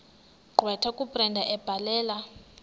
gqwetha kabrenda ebhalela